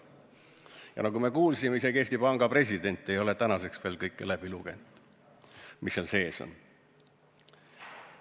Ja nagu me kuulsime, isegi Eesti Panga president ei ole tänaseks veel läbi lugenud kõike, mis seal sees on.